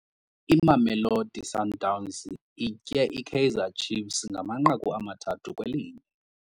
Imamelosi Sundowns itye iKaizer Ciefs ngamanqaku amathathu kwelinye.